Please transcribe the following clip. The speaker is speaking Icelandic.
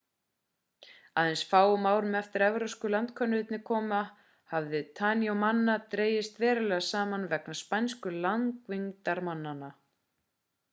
aðeins fáum árum eftir að evrópsku landkönnuðurnir komu hafði fjöldi tainomanna dregist verulega saman vegna spænsku landvinningamannanna